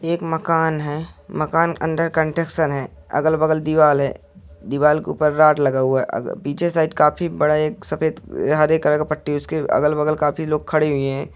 ये एक मकान है। मकान अंडर कंस्ट्रक्शन है। अगल-बगल दीवाल है। दीवाल के ऊपर रॉड लगा हुआ है। पीछे साइड काफी बड़ा एक सफेद हरे कलर का पट्टी। उसके अगल-बगल काफी लोग खड़े हुए हैं।